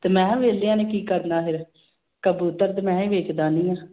ਤੇ ਮੈਂ ਕਿਹਾ ਵਿਹਲਿਆਂ ਨੇ ਕੀ ਕਰਨਾ ਫਿਰ, ਕਬੂਤਰ ਤੇ ਮੈਂ ਵੀ ਵੇਚ ਦਿੰਦੀ ਹਾਂ